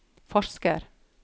forsker